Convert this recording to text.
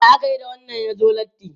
Ya ake yi da wanda ya zo latti?